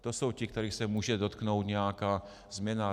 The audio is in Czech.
To jsou ti, kterých se může dotknout nějaká změna.